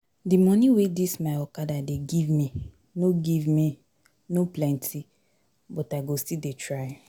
Di moni wey dis my okada dey give me no give me no plenty but I go still dey try.